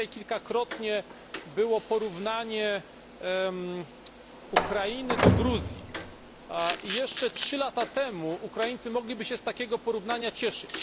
Dzisiaj kilkakrotnie porównano Ukrainę do Gruzji. Jeszcze 3 lata temu Ukraińcy mogliby się z takiego porównania cieszyć.